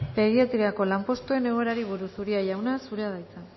pediatriako lanpostuen egoerari buruz uria jauna zurea da hitza